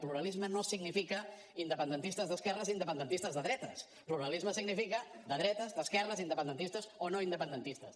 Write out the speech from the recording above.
pluralisme no significa independentistes d’esquerres i independentistes de dretes pluralisme significa de dretes d’esquerres independentistes o no independentistes